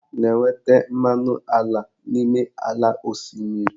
A na-enweta mmanụ ala n'ime ala osimiri.